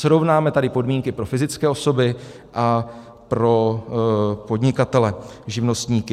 Srovnáme tady podmínky pro fyzické osoby a pro podnikatele živnostníky.